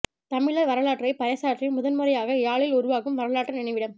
தமிழர் வரலாற்றை பறைசாற்றி முதன் முறையாக யாழில் உருவாகும் வரலாற்று நினைவிடம்